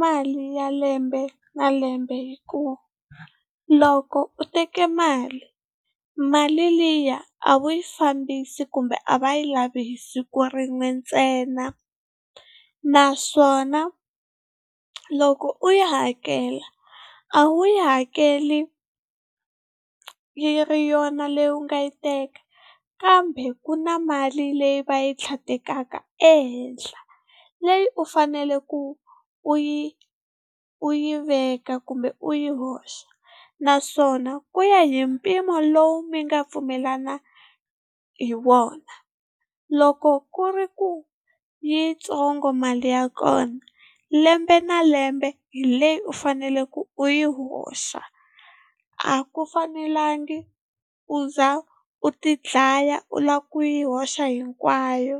mali ya lembe na lembe hikuva loko u teke mali, mali liya a wu yi fambisi kumbe a va yi lavi hi siku rin'we ntsena. Naswona loko u yi hakela a wu yi hakeli yi ri yona leyi u nga yi teka kambe ku na mali leyi va yi tlhandlekaka ehenhla leyi u fanele ku u yi u yi veka kumbe u yi hoxa naswona ku ya hi mpimo lowu mi nga pfumelana hi wona loko ku ri ku yitsongo mali ya kona lembe na lembe hi leyi u faneleke u yi hoxa, a ku fanelangi u za u ti dlaya u lava ku yi hoxa hinkwayo.